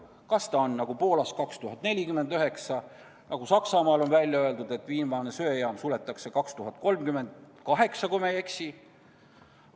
Poolas on see aasta 2049, Saksamaal on välja öeldud, et viimane söejaam suletakse 2038, kui ma ei eksi.